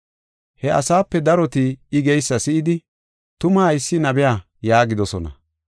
He asaape daroti I geysa si7idi, “Tuma haysi nabiya” yaagidosona.